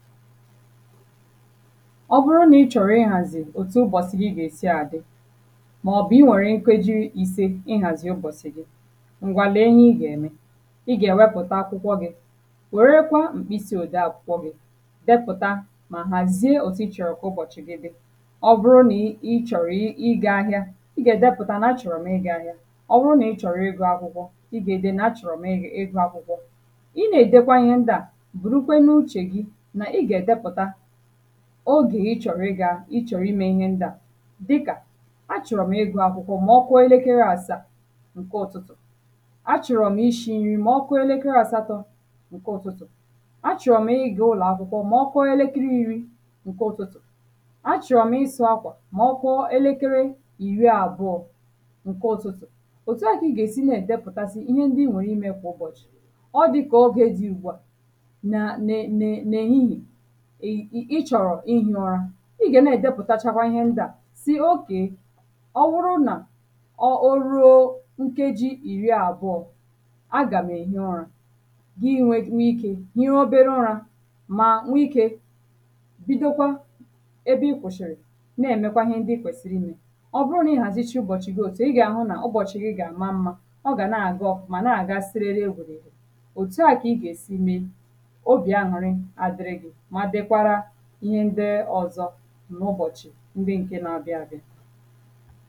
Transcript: ọ bụrụ n’ịchọ̀rọ ịhàzị̀ òtù ụbọ̀sị̀ gị́ gà-èsi àdị maọ̀bụ̀ iwere nkeji iri ise ị̀hazị ụ́bọ̀sị̀ gị ǹgwà le ihe ị gà-ème ị gà èwepụ̀ta akwụkwọ gị̀ wèrekwa mkpịsị òdee akwụkwọ gị̀ depụ̀ta mà hàzie òtù ịchọ̀rọ̀ kà ụbọ̀chị̀ gị dị ọ bụrụ nị ịchọ̀rọ̀ ị̄ ị gā ahịa ị gà-èdepụ̀ta n'achọ̀rọ̀ m ị gā-ahịa, ọ wụ n’ịchọ̀rọ̀ ị gụ̄ akwụkwọ ị gà-ède nà-achọ̀rọ̀ m ị ị gụ̄ akwụkwọ ị na-èdekwa ihe ndā bụ̀rụkwe n’uchè gị nà ị gà-èdepụ̀ta ogè ịchọ̀rọ̀ ị gā ịchọ̀rọ ime ihe ndị ā dị kà achọ̀rọ̀ m ị gụ̄ akwụkwọ ma ọ kụọ elekere àsaa ǹke ụ̀tụtụ̀, achọ̀rọ̀ m ishī nri mà ọ kụọ elekere àsatọ̄ ǹke ụ̀tụtụ̀, achọ̀rọ̀ m ị gā ụlọ̀ akwụkwọ mà ọ kụọ elekere irīirī ǹke ụ̀tụtụ̀, achọ̀rọ̀ m ịsụ̄ akwà mà ọ kụọ elekere ìri àbụ̀ọ ǹke ụ̀tụtụ̀, òtù a kà ị gà-èsi na-èdepụ̀tasị ihe ndị nwèrè imē kwā ụbọ̀chị̀ ọ dị̄ kà ogè dị ụ̀gbụ̀a nà nē nē n’èhihìe ịchọ̀rọ̀ ihi ụra ị gà na-èdepụ̀tachakwa ihe ndā sì okay ọ wụrụ nà ọ o ruō nkeji ìri àbụ̀ọ agà m èhi ụrā, gị nwe ikē hie obere ụrā mà nwe ikē bido kwa ebe ịkwụ̀shị̀rị̀ na-emēkwā ihe ndị ikwèsìrì imē. ọ bụru na-ịhàzịchị ụbọ̀chị̀ gị òtù a ị gà-àhụ nà ụbọ̀chị̀ gị gà-àma mmā ọ gà na-àga ọ̀fụ̀ma na-àga serere wèrèrè òtù a gị gà-èsi me obì aṅụ̀rị àdịrị gị̄ ma dịkwara ihe ndị ọzọ n’ụbọ̀chị̀ ndị ǹke na-abịa abịā